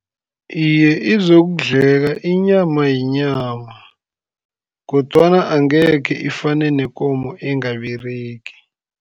Iye, izokudleka inyama, yinyama kodwana angekhe ifane nekomo engaberegi.